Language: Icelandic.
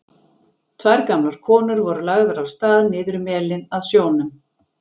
Tvær gamlar konur voru lagðar af stað niður melinn að sjónum.